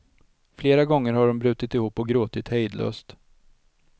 Flera gånger har de brutit ihop och gråtit hejdlöst.